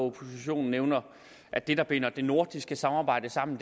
oppositionen nævner at det der binder det nordiske samarbejde sammen